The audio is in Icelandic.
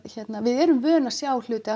við erum vön að sjá hluti